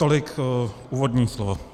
Tolik úvodní slovo.